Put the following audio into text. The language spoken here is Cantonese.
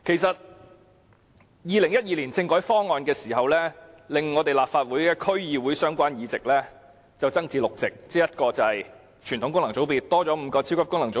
在2012年政改方案推行後，立法會的區議會相關議席增至6席，即在傳統功能界別增加5個超級功能界別。